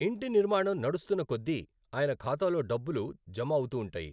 ఇంటి నిర్మాణం నడుస్తున్న కొద్దీ ఆయన ఖాతాలో డబ్బులు జమఅవుతుంటాయి.